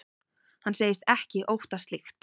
Hann segist ekki óttast slíkt.